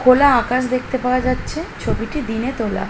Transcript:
খোলা আকাশ দেখতে পাওয়া যাচ্ছে | ছবিটি দিনে তোলা।